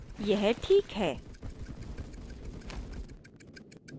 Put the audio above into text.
यह this है